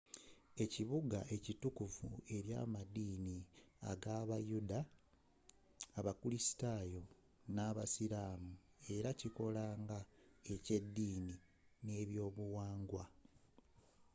ekibugga kitukuvu eri amaddini g'abayuda abakulisitayo n'abayisiramu era kikola nga ekyeddini n'ebyobuwanga